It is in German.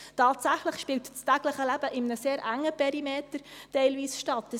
Tatsächlich spielt sich das tägliche Leben teilweise in einem sehr engen Perimeter ab.